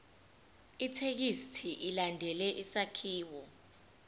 ithekisthi ilandele isakhiwo